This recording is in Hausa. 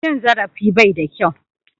Cin zarafi bai da kyau